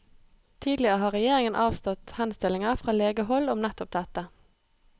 Tidligere har regjeringen avslått henstillinger fra legehold om nettopp dette.